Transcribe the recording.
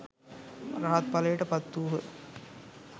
රහත්ඵලයට පත්වූහ.